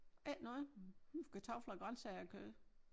Ikke noget. Kartofler og grøntsager og kød